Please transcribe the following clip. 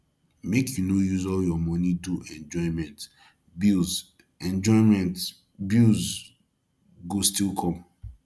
make you no use all your money do enjoyment bills enjoyment bills go still come